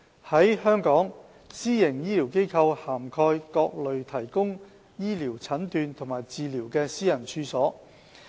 在香港，私營醫療機構涵蓋各類提供醫療診斷和治療的私人處所。